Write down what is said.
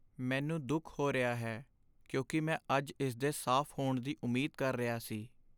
ਮੈਨੂੰ ਦੁੱਖ ਹੋ ਰਿਹਾ ਹੈ ਕਿਉਂਕਿ ਮੈਂ ਅੱਜ ਇਸ ਦੇ ਸਾਫ਼ ਹੋਣ ਦੀ ਉਮੀਦ ਕਰ ਰਿਹਾ ਸੀ।